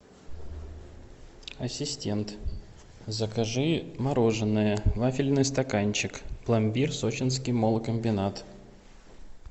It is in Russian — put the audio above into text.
ассистент закажи мороженое вафельный стаканчик пломбир сочинский молкомбинат